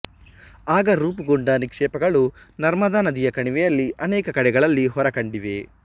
ಆಗ ರೂಪುಗೊಂಡ ನಿಕ್ಷೇಪಗಳು ನರ್ಮದಾನದಿಯ ಕಣಿವೆಯಲ್ಲಿ ಅನೇಕ ಕಡೆಗಳಲ್ಲಿ ಹೊರ ಕಂಡಿವೆ